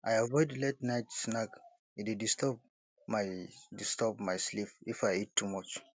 i avoid la ten ight snack e dey disturb my disturb my sleep if i eat too much